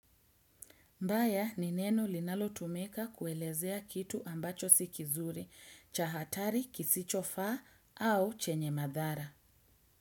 Mbaya ni neno linalotumika kuelezea kitu ambacho si kizuri, cha hatari kisichofaa au chenye madhara.